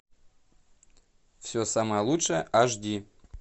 все самое лучшее аш ди